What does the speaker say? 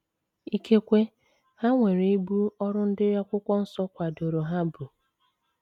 Ikekwe ha nwere ibu ọrụ ndị Akwụkwọ Nsọ kwadoro ha bu.